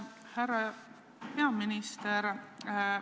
Härra peaminister!